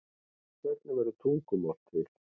hvernig verður tungumál til